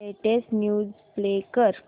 latest news play कर